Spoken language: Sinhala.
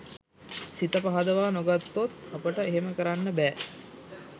සිත පහදවා නොගත්තොත් අපට එහෙම කරන්න බෑ.